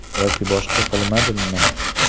Yoki boshqa qilmadimmi?